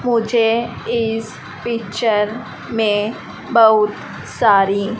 मुझे इस पिक्चर में बहुत सारी--